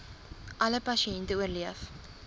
alle pasiënte oorleef